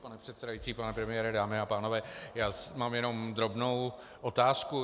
Pane předsedající, pane premiére, dámy a pánové, já mám jenom drobnou otázku.